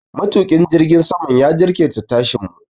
Matuƙin jirgin saman ya jinkirta tashin mu.